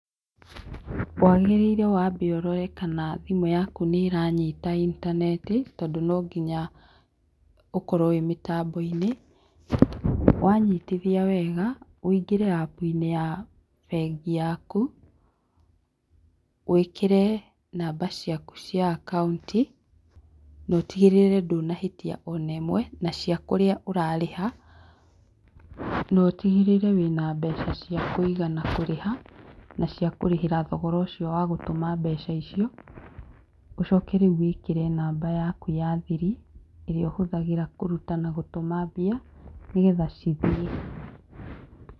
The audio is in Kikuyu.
Wagĩrĩire wambe ũrore kana thimũ yaku nĩranyita intaneti tondũ no nginya ũkorwo wĩ mĩtambo-inĩ wanyitithia wega wũingĩre App inĩ ya bengi yaku wĩkĩre namba ciaku cia akaunti no tigĩrĩre ndũnahĩtia ona ĩmwe na cia kũrĩa ũrarĩha, na ũtigĩrĩre wĩna mbeca cia kũigana kũrĩha na cĩa kũrĩhĩra thogora ũcio wa gũtũma mbeca icio ũcoke rĩu wĩkĩre namba yaku ya thiri ĩrĩa ũhũthagĩra kũruta na gũtũma mbia nĩgetha cithiĩ.